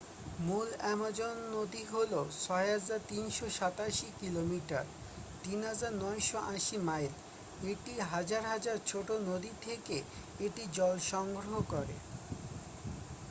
মূল অ্যামাজন নদী হল ৬,৩৮৭ কি.মি. ৩,৯৮০ মাইল। এটি হাজার হাজার ছোট নদী থেকে এটি জল সংগ্রহ করে।